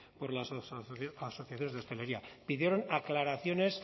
por las asociaciones de hostelería pidieron aclaraciones